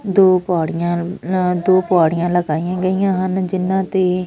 ਦੋ ਪੌੜੀਆਂ ਦੋ ਪੌੜੀਆਂ ਲਗਾਈਆਂ ਗਈਆਂ ਹਨ ਜਿਨਾਂ ਤੇ--